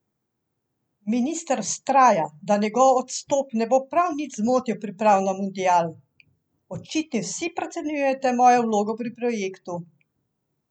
Minister vztraja, da njegov odstop ne bo prav nič zmotil priprav na mundial: 'Očitno vsi precenjujete mojo vlogo pri projektu.